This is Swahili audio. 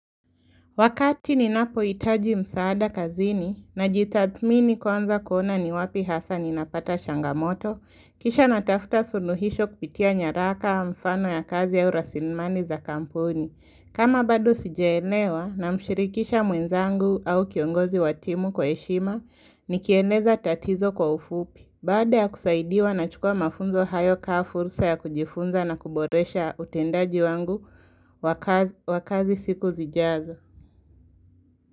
Wakati ninapohitaji msaada kazini najitathmini kwanza kuona ni wapi hasa ninapata changamoto, kisha natafuta suluhisho kupitia nyaraka mfano ya kazi au rasinmani za kampuni. Kama bado sijaelewa namshirikisha mwenzangu au kiongozi wa timu kwa heshima, nikieleza tatizo kwa ufupi. Badada ya kusaidiwa nachukua mafunzo hayo kaa fursa ya kujifunza na kuboresha utendaji wangu wa kazi siku zijazo.